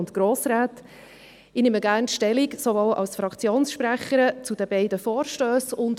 Ich nehme gerne als Fraktionssprecherin Stellung zu den beiden Vorstössen.